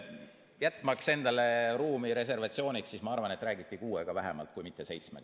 Jätmaks endale ruumi reservatsiooniks, ma arvan, et räägiti kuuega vähemalt kui mitte seitsmega.